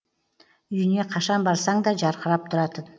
үйіне қашан барсаң да жарқырап тұратын